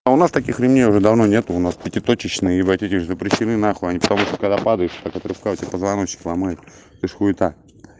а у нас таких людей уже давно нету у нас пятиточечные в этих запрещены на хуй они потому что когда падаешь этот расскажите позвоночник ломает это же хуета